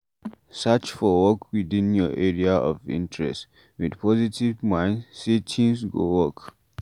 Search for work within your area of interest, with positve mind sey things go work